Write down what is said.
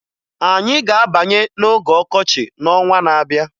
Anyị ga-abanye n'oge ọkọchị n'ọnwa na-abịa